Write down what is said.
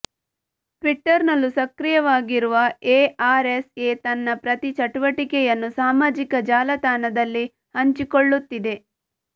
ಟ್ವಿಟರ್ನಲ್ಲೂ ಸಕ್ರಿಯವಾಗಿರುವ ಎಆರ್ಎಸ್ಎ ತನ್ನ ಪ್ರತಿ ಚಟುವಟಿಕೆಯನ್ನು ಸಾಮಾಜಿಕ ಜಾಲತಾಣದಲ್ಲಿ ಹಂಚಿಕೊಳ್ಳುತ್ತಿದೆ